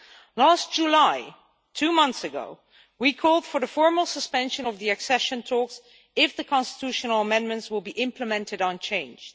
In July two months ago we called for the formal suspension of the accession talks if the constitutional amendments were implemented unchanged.